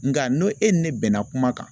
Nka n'o e ni ne bɛnna kuma kan.